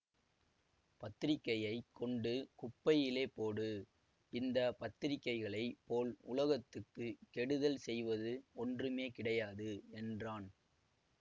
பத்திரிக்கையைக் கொண்டு குப்பையிலே போடு இந்த பத்திரிக்கைகளைப் போல் உலகத்துக்குக் கெடுதல் செய்வது ஒன்றுமே கிடையாது என்றான்